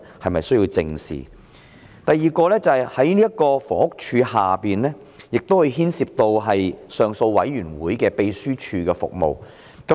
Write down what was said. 此外，房屋署的總目下亦牽涉到上訴委員會秘書處的服務。